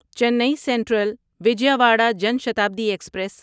چینی central Vijayawada Jan Shatabdi express